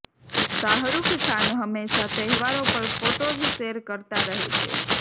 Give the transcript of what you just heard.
શાહરુખ ખાન હંમેશા તહેવારો પર ફોટોઝ શેર કરતા રહે છે